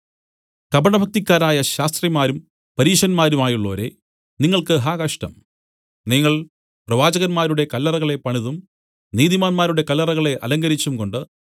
കപടഭക്തിക്കാരായ ശാസ്ത്രിമാരും പരീശന്മാരുമായുള്ളോരേ നിങ്ങൾക്ക് ഹാ കഷ്ടം നിങ്ങൾ പ്രവാചകന്മാരുടെ കല്ലറകളെ പണിതും നീതിമാന്മാരുടെ കല്ലറകളെ അലങ്കരിച്ചുംകൊണ്ട്